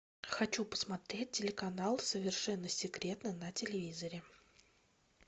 хочу посмотреть телеканал совершенно секретно на телевизоре